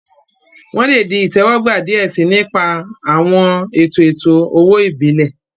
Wọn le di itẹwọgba diẹ sii, ni ipa awọn eto eto-owo ibile.